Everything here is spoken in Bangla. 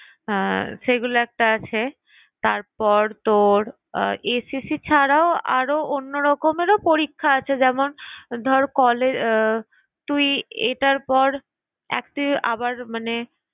সেইগুলো একটা আছে তারপর তোর SSC ছাড়াও আরো অন্য রকমের পরীক্ষা আছে যেমন ধর কলে আহ তুই এটার পর তুই একটি~ আবার মানে